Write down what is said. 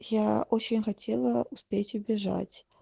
я очень хотела успеть убежать